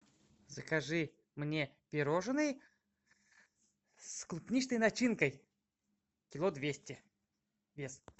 закажи мне пирожные с клубничной начинкой кило двести вес